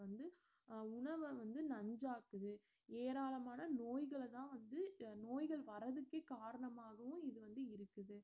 வந்து உணவ வந்து நன்றாக்குது ஏராளமான நோய்களதான் வந்து நோய்கள் வரத்துக்கே காரணமாகவும் இது வந்து இருக்குது